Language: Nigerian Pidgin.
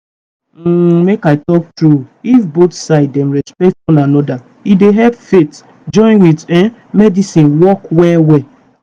um make i talk true if both both side dem respect one anoda e dey help faith--join with um medicine work well well.